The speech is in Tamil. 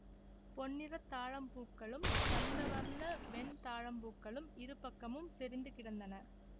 பொன்னிறத் தாழம்பூக்களும் தந்த வர்ண வெண் தாழம்பூக்களும் இருபக்கமும் செறிந்து கிடந்தன